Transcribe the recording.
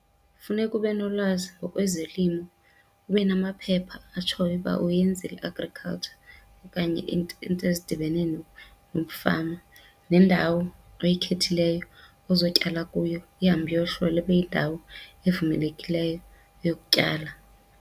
Funeka ube nolwazi ngokwezolimo, ube namaphepha atshoyo uba uyenzile i-agriculture okanye iinto ezidibene nokufama. Nendawo oyikhethileyo ozotyala kuyo ihambe iyohlola ibe yindawo evumelekileyo yokutyala.